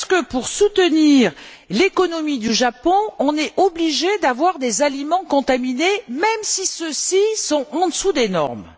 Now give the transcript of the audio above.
Est ce que pour soutenir l'économie du Japon, on est obligés d'avoir des aliments contaminés, même si ceux ci sont en dessous des normes?